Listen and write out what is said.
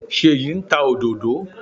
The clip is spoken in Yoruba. Ṣèyí ń ta òdòdó.